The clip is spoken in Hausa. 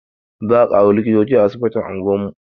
Za a ƙaro likitoci a asibitin unguwar mu